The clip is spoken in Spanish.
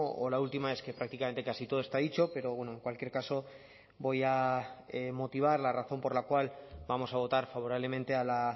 o la última es que prácticamente casi todo está dicho pero bueno en cualquier caso voy a motivar la razón por la cual vamos a votar favorablemente a la